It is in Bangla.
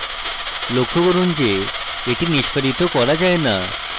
লক্ষ্য করুন যে এটি নিষ্পাদিত করা যায় note